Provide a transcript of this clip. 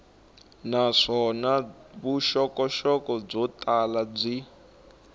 naswona vuxokoxoko byo tala byi